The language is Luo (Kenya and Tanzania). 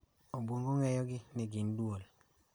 Obwongo ng�eyogi ni gin duol.